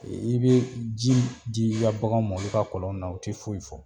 I bɛ ji di i ka bagan ma olu ka kɔlɔn na u tɛ foyi fɔ